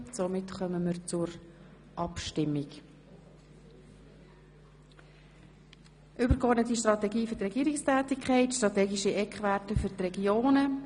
Somit kommen wir zur Abstimmung über die Motion Übergeordnete Strategie für die Regierungstätigkeit, Strategische Eckwerte für die Regionen.